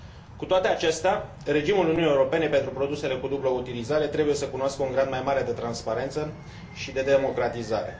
Cu toate acestea, regimul Uniunii Europene pentru produsele cu dublă utilizare trebuie să cunoască un grad mai mare de transparență și de democratizare.